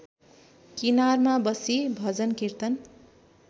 किनारमा बसी भजनकीर्तन